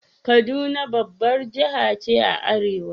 Kaduna babbar jiha ce a arewa.